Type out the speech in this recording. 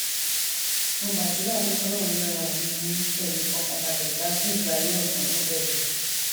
mo gbàdúrà pé kọlọrun lọra ẹmí yín kẹ ẹ lè fọkàn balẹ gbádùn ìgbé ayé ọtún tó bẹrẹ yìí